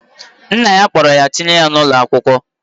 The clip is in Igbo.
Nnna ya kpolo ya tinye ya na ulo akwukwo.